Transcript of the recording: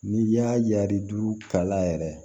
N'i y'a yari kala yɛrɛ